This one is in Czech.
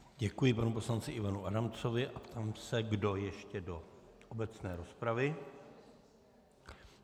Děkuji panu poslanci Ivanu Adamcovi a ptám se, kdo ještě do obecné rozpravy.